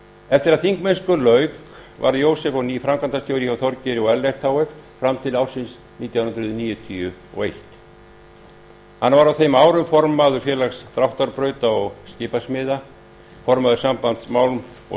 eftir að þingmennsku lauk varð jósef á ný framkvæmdastjóri hjá þorgeiri og ellerti h f fram til ársins nítján hundruð níutíu og eitt hann var á þeim árum formaður félags dráttarbrauta og skipasmiðja formaður sambands málm og